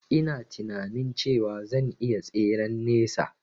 Ina tinanin cewa zan iya tseren nesa